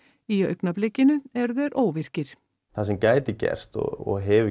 í augnablikinu eru þeir óvirkir það sem gæti gerst og hefur